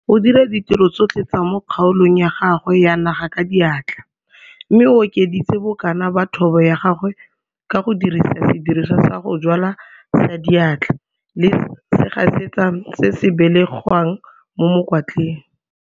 O dira ditiro tsotlhe tsa mo kgaolong ya gagwe ya naga ka diatla mme o okeditse bokana ba thobo ya gagwe ka go dirisa sediriswa sa go jwala sa diatla le segasetsa se se belegwang mo mokwatleng.